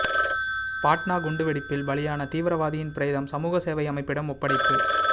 பாட்னா குண்டு வெடிப்பில் பலியான தீவிரவாதியின் பிரேதம் சமூகசேவை அமைப்பிடம் ஒப்படைப்பு